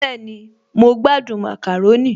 Bẹ́ẹ̀ni, mo gbádùn màkàrónì